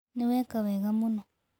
Nĩ weka wega mũno.